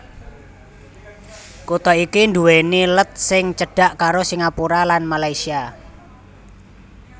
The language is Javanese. Kutha iki nduwèni let sing cedhak karo Singapura lan Malaysia